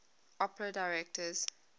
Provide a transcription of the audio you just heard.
opera directors